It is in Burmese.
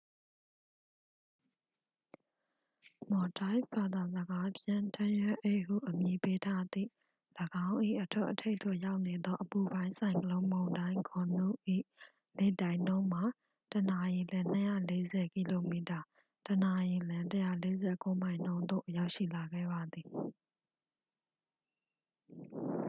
မော်ဒိုက်ဖ် ဘာသာစကားဖြင့် ထန်းရွက်အိတ်ဟုအမည်ပေးထားသည့် ၎င်း၏အထွတ်အထိပ်သို့ရောက်နေသော အပူပိုင်းဆိုင်ကလုန်းမုန်တိုင်းဂွန်နု ၏လေတိုက်နှုန်းမှာ တစ်နာရီလျှင် ၂၄၀ ကီလိုမီတာ တစ်နာရီလျှင် ၁၄၉ မိုင် နှုန်းသို့ ရောက်ရှိလာခဲ့ပါသည်။